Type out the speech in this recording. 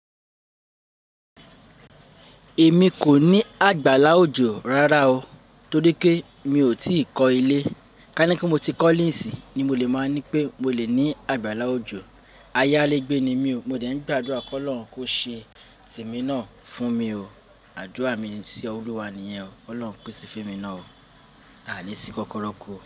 Èmi kò ní àgbàlá òjò rárá o, torí pé mi ò tí ì kọ́ ilé. Ká nípe mo ti kọ́le nisiń ni mo lè máa ní pé mo lè ní àgbàlá òjò. Ayálégbé ni mí o, mo dẹ̀ ń gbàdúrà kí Ọlọ́run kó ṣe temi náà fún mi o. Àdúrà mi sí Olúwa nìyẹn o, Ọlọ́run pèsè fún mi náà o, àní sìn kókóró ku o.